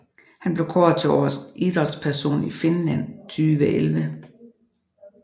Hun blev kåret til årets idrætsperson i Finland 2011